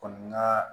Kɔni n ka